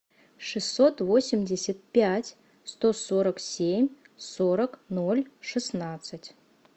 шестьсот восемьдесят пять сто сорок семь сорок ноль шестнадцать